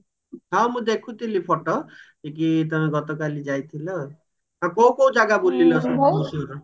ହଁ ମୁଁ ଦେଖୁଥିଲି photo କି ତମେ ଗତ କାଲି ଯାଇଥିଲ ହଁ କୋଉ କୋଉ ଜାଗା ବୁଲିଲ ସବୁ ମଏଶ୍ଵରରେ